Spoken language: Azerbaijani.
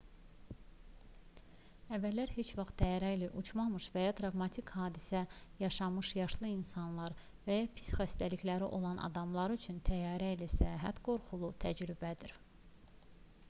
əvvəllər heç vaxt təyyarə ilə uçmamış və ya travmatik bir hadisə yaşamamış yaşlı insanlar və ya pis xatirələri olan adamlar üçün təyyarə ilə səyahət qorxulu təcrübədir